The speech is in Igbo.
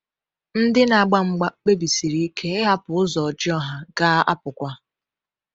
Ndị na-agba mgba kpebisiri ike ịhapụ ụzọ ọjọọ ha ga-apụkwa.